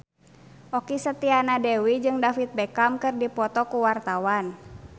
Okky Setiana Dewi jeung David Beckham keur dipoto ku wartawan